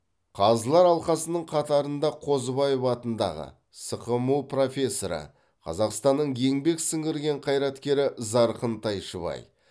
қазылар алқасының қатарында қозыбаев атындағы сқму профессоры қазақстанның еңбек сіңірген қайраткері зарқын тайшыбай